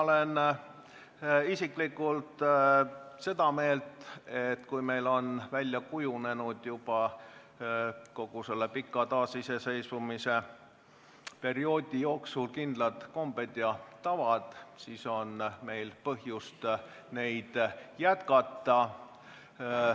Mina isiklikult olen seda meelt, et kui meil on kogu selle pika taasiseseisvuse perioodi jooksul kindlad kombed ja tavad välja kujunenud, siis on meil põhjust neid jätkata.